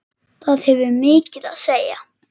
Það hefur mikið að segja.